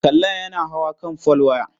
Kalla yana hawa kan folwaya.